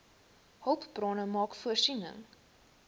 hulpbronne maak voorsiening